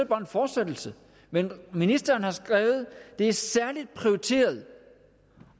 bare en fortsættelse men ministeren har skrevet at det er særligt prioriteret